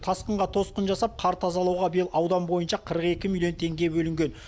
тасқынға тосқын жасап қар тазлауға биыл аудан бойынша қырық екі миллион теңге бөлінген